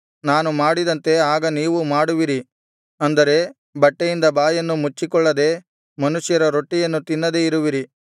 ನಾನು ಮಾಡಿದಂತೆ ಆಗ ನೀವೂ ಮಾಡುವಿರಿ ಅಂದರೆ ಬಟ್ಟೆಯಿಂದ ಬಾಯನ್ನು ಮುಚ್ಚಿಕೊಳ್ಳದೆ ಮನುಷ್ಯರ ರೊಟ್ಟಿಯನ್ನು ತಿನ್ನದೆ ಇರುವಿರಿ